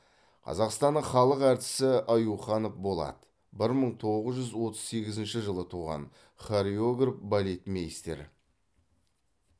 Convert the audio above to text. қазақстанның халық әртісі аюханов болат бір мың тоғыз жүз отыз сегізінші жылы туған хореограф балетмейстер